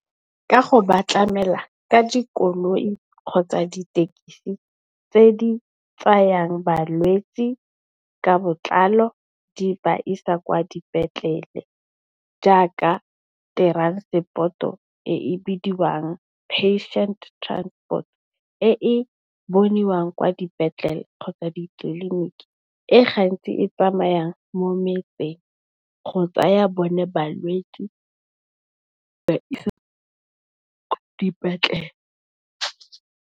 Ka go ba tlamela ka dikoloi kgotsa dithekisi tse di tsayang balwetsi ka botlalo di ba isa kwa dipetlele jaaka teransepoto e e bidiwang Patient Transport e e boniwang kwa dipetlele kgotsa ditleliniki e gantsi e tsamayang mo metseng go tsaya bone balwetsi ba e ba isa ko dipetlele.